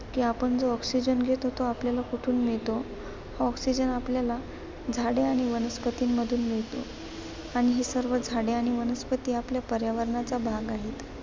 की आपण जो oxygen घेतो, तो आपल्याला कुठून मिळतो? Oxygen आपल्याला झाडे आणि वनस्पतींमधून मिळतो. आणि हे सर्व झाडे आणि वनस्पती आपल्या पर्यावरणाचा भाग आहेत.